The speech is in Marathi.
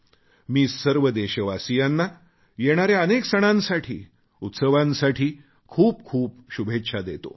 मी सर्व देशवासियांना येणाऱ्या अनेक सणांसाठी उत्सवांसाठी खूपखूप शुभेच्छा देतो